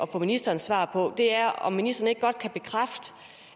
at få ministerens svar på er om ministeren ikke godt kan bekræfte